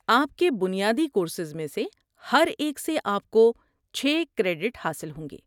آپ کے بنیادی کورسز میں سے ہر ایک سے آپ کو چھ کریڈٹ حاصل ہوں گے۔